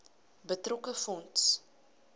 betrokke fonds